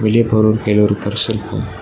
வெளிய போறவர் கைல ஒரு பர்ஸ் இருக்கு.